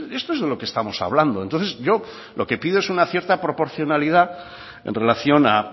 esto es de lo que estamos hablando entonces yo lo que pido es una cierta proporcionalidad en relación a